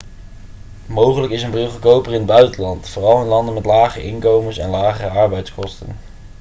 mogelijk is een bril goedkoper in het buitenland vooral in landen met lage inkomens en lagere arbeidskosten